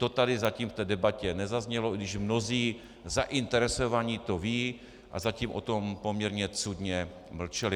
To tady zatím v té debatě nezaznělo, i když mnozí zainteresovaní to vědí a zatím o tom poměrně cudně mlčeli.